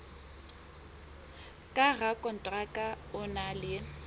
ka rakonteraka o na le